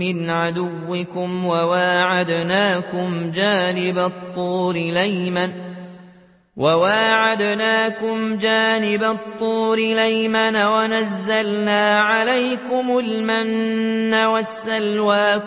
مِّنْ عَدُوِّكُمْ وَوَاعَدْنَاكُمْ جَانِبَ الطُّورِ الْأَيْمَنَ وَنَزَّلْنَا عَلَيْكُمُ الْمَنَّ وَالسَّلْوَىٰ